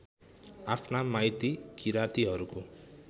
आफ्ना माइती किरातीहरूको